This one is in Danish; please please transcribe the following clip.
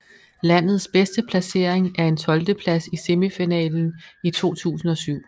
Landets bedste placering er en tolvteplads i semifinalen i 2007